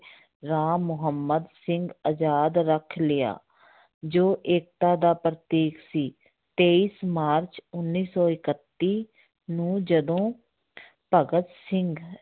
ਰਾਮ ਮੁਹੰਮਦ ਸਿੰਘ ਆਜ਼ਾਦ ਰੱਖ ਲਿਆ ਜੋ ਏਕਤਾ ਦਾ ਪ੍ਰਤੀਕ ਸੀ, ਤੇਈ ਮਾਰਚ ਉੱਨੀ ਸੌ ਇਕੱਤੀ ਨੂੰ ਜਦੋਂ ਭਗਤ ਸਿੰਘ